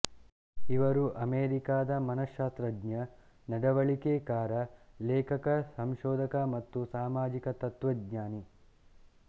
ಇವರು ಅಮೇರಿಕಾದ ಮನಃಶ್ಶಾಸ್ತ್ರಜ್ಞ ನಡವಳಿಕೆಕಾರ ಲೇಖಕ ಸಂಶೋಧಕ ಮತ್ತು ಸಾಮಾಜಿಕ ತತ್ವಜ್ಞಾನಿ